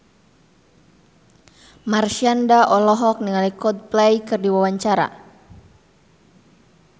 Marshanda olohok ningali Coldplay keur diwawancara